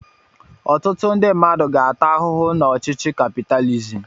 Ọtụtụ ndị mmadụ ga-ata ahụhụ n'ọchịchị kapitalizim.